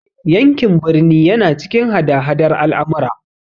Yankin birni yana cikin hada hadar al'amura.